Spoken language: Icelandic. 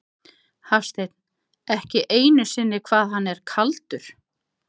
Hafsteinn: Ekki einu sinni hvað hann er kaldur?